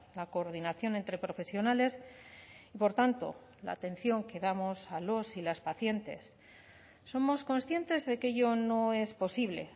la coordinación entre profesionales por tanto la atención que damos a los y las pacientes somos conscientes de que ello no es posible